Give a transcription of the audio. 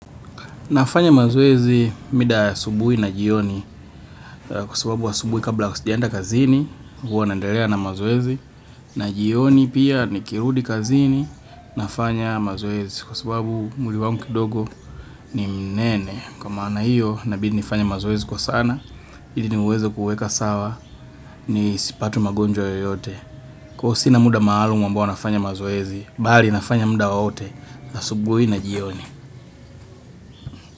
Nafanya mazoezi mida ya asubuhi na jioni, kwasababu asubuhi kabla sijaenda kazini huwa naendelea na mazoezi na jioni pia nikirudi kazini nafanya mazoezi kwasababu mwili wangu kidogo ni mnene. Kwa maana hiyo, inabidi nifanye mazoezi kwa sana ili niweze kuweka sawa nisipate magonjwa yoyote. Kwahiyo, sina muda maalumu ambao nafanya mazoezi, bali nafanya muda wowote asubuhi na jioni.